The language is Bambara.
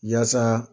Yaasa